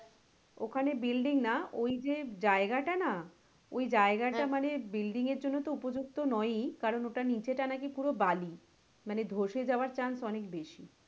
ওখানে building না ওই যে জায়গা টা না ওই জায়গা টা মানে building এর জন্য তো মানে উপযুক্ত নয় ই কারন ওটার নীচে টা নাকি পুরো বালি মানে ধসে যাওয়ার chance অনেক বেশি।